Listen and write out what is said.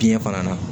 Biyɛn fana na